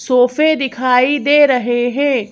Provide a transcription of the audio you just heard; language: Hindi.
सोफे दिखाई दे रहे हैं।